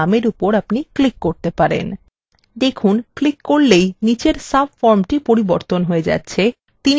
দেখুন ক্লিক করলেই নিচের সাবফর্মটি পরিবর্তন হয়ে যাচ্ছে এবং তিনি যে বইটি ফেরত দেননি সেটিকে দেখা যাচ্ছে